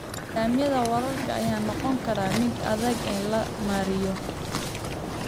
Nidaamyada waraabka ayaa noqon kara mid adag in la maareeyo.